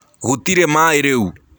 Gũtĩrĩ maĩ rĩũ.